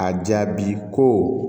A jaabi ko